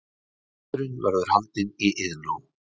Fundurinn verður haldinn í Iðnó